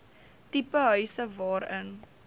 tipe huise waarin